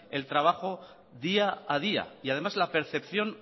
el trabajo día a día y además la percepción